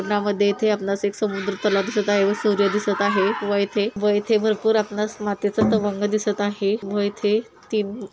नामध्ये येथे आपल्याला एक समुद्र तलाव दिसत आहे व सूर्य दिसत आहे व इथे व इथे भरपूर आपल्याला मातीच तवंग दिसत आहे व इथे तिन --